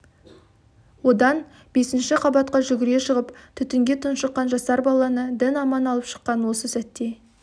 одан бесінші қабатқа жүгіре шығып түтінге тұншыққан жасар баланы дін аман алып шыққан осы сәтте